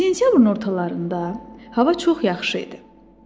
Sentyabrın ortalarında hava çox yaxşı idi.